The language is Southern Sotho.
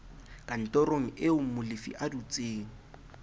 kantorong eo molefi a dutseng